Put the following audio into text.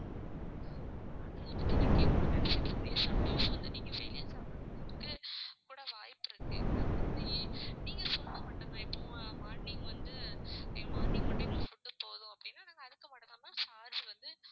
அத பத்தி நான் கேக்கணும்ன்னு நினைச்சுக்கிட்டு இருந்தேன். some times வந்து நீங்க வெளியே சாப்பிடுறதுக்கு கூட வாய்ப்பு இருக்கு. நாங்க வந்து நீங்க சொன்னா மட்டும் தான் இப்போ morning வந்து morning மட்டும் எங்களுக்கு food போதும் அப்படின்னா நாங்க அதுக்கு மட்டும்தான் ma'am charge வந்து